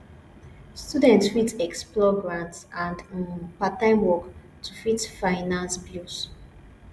student fit explore grants and um part time work to fit finance bills